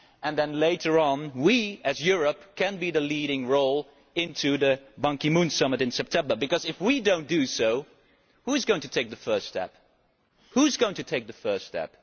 Then later on we, as Europe, can play the leading role in the Ban Ki moon summit in September because if we do not do so, who is going to take the first step?